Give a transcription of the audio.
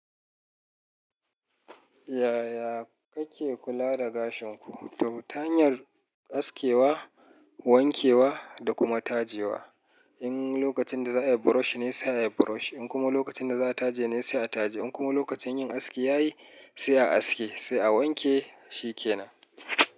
Yaya kake kula da gashin ku? Ta hanyar askewa, wankewa da kuma tajewa. In lokacin da za a yi brush ne sai a yi brush, in kuma lokacin da za a taje ne sai a taje, in kuma lokacin yin aski ya yi sai a yi aske, sai a wanke shi kenan.